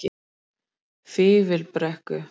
Fífilbrekku